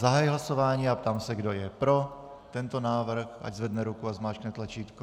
Zahajuji hlasování a ptám se, kdo je pro tento návrh, ať zvedne ruku a zmáčkne tlačítko.